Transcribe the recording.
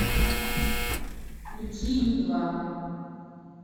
включи ю два